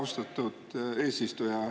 Austatud eesistuja!